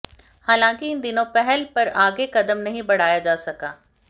हालांकि इन दोनों पहल पर आगे कदम नहीं बढ़ाया जा सका